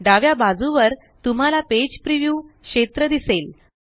डाव्या बाजूवर तुम्हाला पेज प्रीव्युव क्षेत्र दिसेल